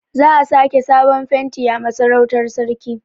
Za a sake sabon fenti a Masarautar sarki.